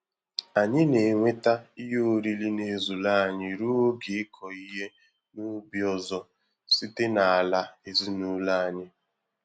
Anyị na-enweta ihe oriri n'ezuru anyị ruo oge ịkọ ihe n'ubi ọzọ site n'ala ezinụlọ anyị